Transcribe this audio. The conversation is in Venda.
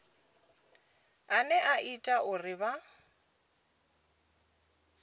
ane a ita uri vha